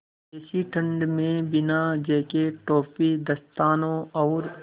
ऐसी ठण्ड में बिना जेकेट टोपी दस्तानों और